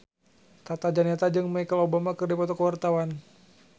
Tata Janeta jeung Michelle Obama keur dipoto ku wartawan